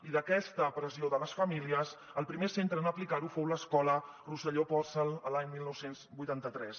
i d’aquesta pressió de les famílies el primer centre en aplicar ho fou l’escola rosselló pòrcel l’any dinou vuitanta tres